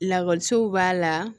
Lakɔliso b'a la